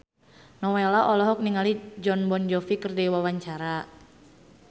Nowela olohok ningali Jon Bon Jovi keur diwawancara